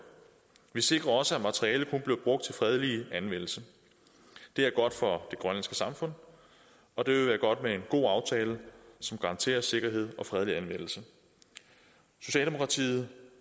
vi sikrer også at materialet kun bliver brugt til fredelig anvendelse det er godt for det grønlandske samfund og det vil være godt med en god aftale som garanterer sikkerhed og fredelig anvendelse socialdemokratiet